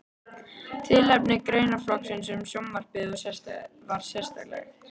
Tilefni greinaflokksins um sjónvarpið var sérkennilegt.